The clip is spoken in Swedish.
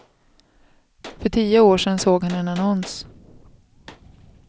För tio år sedan såg han en annons.